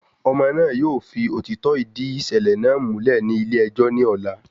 Ọmọ náà yóò fi òtítọ́ ìdí ìṣẹ̀lẹ̀ náà múlẹ̀ ní ilé ẹjọ́ ní ọ̀la